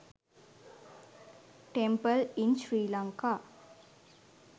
temple in sri lanka